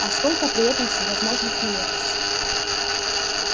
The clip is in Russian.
а сколько при этом всевозможных нелепостей